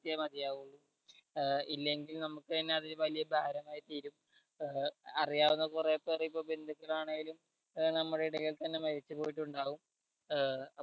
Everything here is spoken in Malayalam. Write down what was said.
മതിയാകൂ ഏർ ഇല്ലെങ്കിൽ നമുക്ക് തന്നെ അത് വലിയൊരു ഭാരമായി തീരും ഏർ അറിയാവുന്ന കൊറേ പേര് ഇപ്പൊ ബന്ധുക്കൾ ആണേലും ഏർ നമ്മുടെ ഇടയിൽ തന്നെ മരിച്ചു പോയിട്ടുണ്ടാകും ഏർ